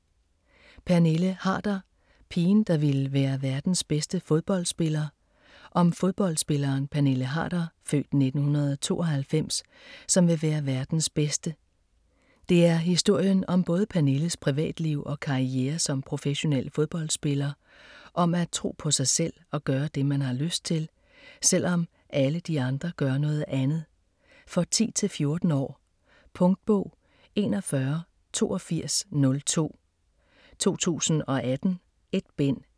Pernille Harder: pigen, der ville være verdens bedste fodboldspiller Om fodboldspilleren Pernille Harder (f. 1992), som vil være verdens bedste. Det er historien om både Pernilles privatliv og karriere som professionel fodboldspiller, om at tro på sig selv og gøre det, man har lyst til, selvom alle de andre gør noget andet. For 10-14 år. Punktbog 418202 2018. 1 bind.